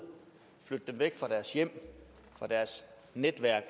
flytte dem væk fra deres hjem fra deres netværk